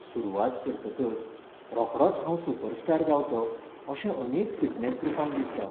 सुरवात करतकच रोखडोच हांव सुपरस्टार जावंचो अशें अनेक फिटनेस ग्रुपांक दिसता